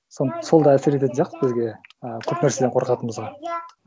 сол да әсер ететін сияқты бізге а көп нәрседен қорқатынымызға